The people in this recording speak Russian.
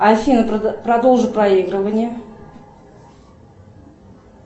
афина продолжи проигрывание